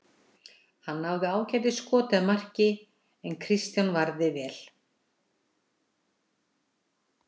Hann náði ágætis skoti að marki en Kristján varði vel.